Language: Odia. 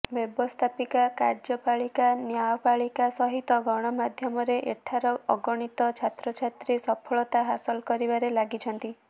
ବ୍ୟବସ୍ଥାପିକା କାର୍ଯ୍ୟପାଳିକା ନ୍ୟାୟପାଳିକା ସହିତ ଗଣମାଧ୍ୟମରେ ଏଠାର ଅଗଣିତ ଛାତ୍ରଛାତ୍ରୀ ସଫଳତା ହାସଲ କରିବାରେ ଲାଗିଛନ୍ତି